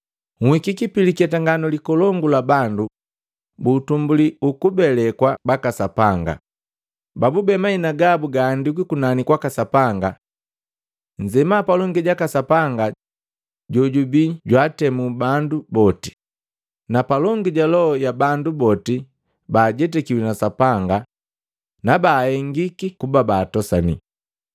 Nhikiki pi liketanganu likolongu la bandu bu utumbuli ukubelekwa waka Sapanga, babube mahina gabu gaandikwi kunani kwaka Sapanga. Nzema palongi jaka Sapanga jojubi ntemu wa bandu boti, na palongi ja loho ya bandu boti ba ajetakiwi na Sapanga na ba baahengikiki kuba baatosani.